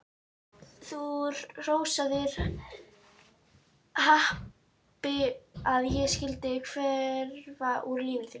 Þú hrósaðir happi að ég skyldi hverfa úr lífi þínu.